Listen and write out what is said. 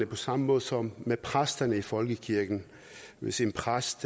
på samme måde som med præsterne i folkekirken hvis en præst